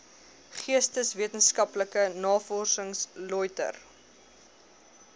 geesteswetenskaplike navorsing lötter